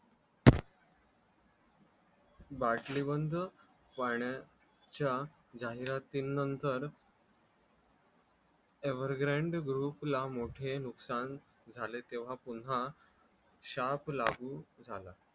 बाटलीबंद पाण्याच्या जाहिरातीनंतर ever grand group ला मोठे नुकसान झाले तेव्हा पुन्हा शाप लागू झाला